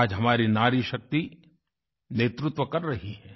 आज हमारी नारीशक्ति नेतृत्व कर रही है